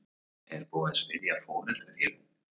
Er búið að spyrja foreldrafélögin?